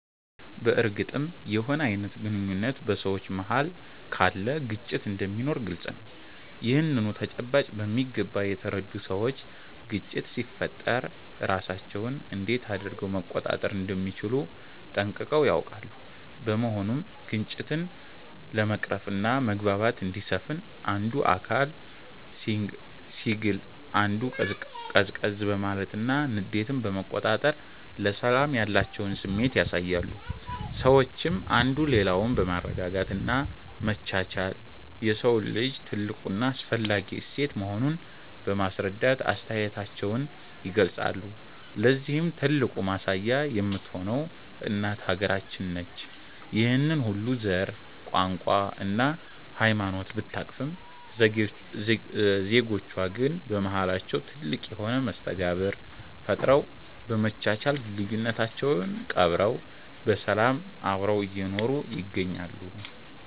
በርግጥም የሆነ አይነት ግንኙነት በ ሰዎች መሃል ካለ ግጭት እንደሚኖር ግልፅ ነው። ይህንኑ ተጨባጭ በሚገባ የተረዱ ሰዎች ግጭት ሲፈጠር ራሳቸውን እንዴት አድረገው መቆጣጠር እንደሚችሉ ጠንቅቀው ያውቃሉ። በመሆኑም ግጭትን ለመቅረፍና መግባባት እንዲሰፍን አንዱ አካል ሲግል አንዱ ቀዝቀዝ በማለትና ንዴትን በመቆጣጠር ለሰላም ያላቸውን ስሜት ያሳያሉ። ሰዎችም አንዱ ሌላውን በማረጋጋት እና መቻቻል የሰው ልጅ ትልቁ እና አስፈላጊ እሴት መሆኑን በማስረዳት አስተያየታቸውን ይገልፃሉ። ለዚህም ትልቁ ማሳያ የምትሆነው እናት ሃገራችን ነች። ይህንን ሁሉ ዘር፣ ቋንቋ እና ሃይማኖት ብታቅፍም ዜጎቿ ግን በማሃላቸው ትልቅ የሆነ መስተጋብር ፈጥረው፤ በመቻቻል ልዩነታቸውን ቀብረው በሰላም አብረው እየኖሩ ይገኛሉ።